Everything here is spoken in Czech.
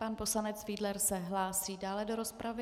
Pan poslanec Fiedler se hlásí dále do rozpravy.